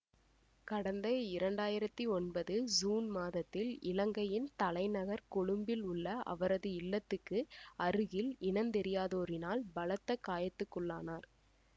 கடந்த இரண்டாயிரத்தி ஒன்பது சூன் மாதத்தில் இலங்கையின் தலைநகர் கொழும்பில் உள்ள அவரது இல்லத்துக்கு அருகில் இனந்தெரியாதோரினால் பலத்த காயத்துக்குள்ளானார்